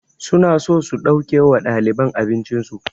Su na so su ɗauke wa ɗaliban abincin su